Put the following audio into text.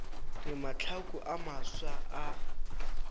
re mahlaku a mafsa a